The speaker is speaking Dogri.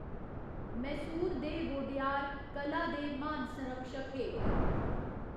मैसूर दे वोडेयार कला दे महान संरक्षक हे।